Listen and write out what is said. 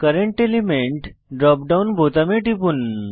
current element drop down বোতামে টিপুন